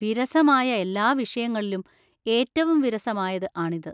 വിരസമായ എല്ലാ വിഷയങ്ങളിലും ഏറ്റവും വിരസമായത് ആണിത്.